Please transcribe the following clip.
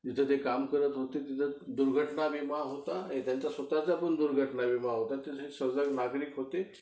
जिथं ते काम करत होते तिथं दुर्घटना विमा होता, आणि त्यांचा स्वतःचा पण दुर्घटना विमा होता आणि ते एक सजग नागरिक होते